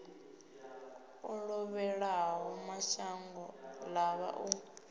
o lovhelaho mashango ḓavha u